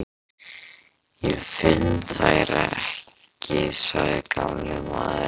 Ég finn þær ekki sagði gamli maðurinn.